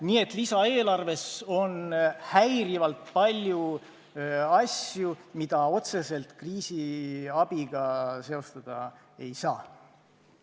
Nii et lisaeelarves on häirivalt palju asju, mida otseselt kriisiabiga seostada ei saa.